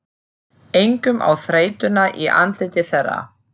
Einkum á þreytuna í andliti þeirra.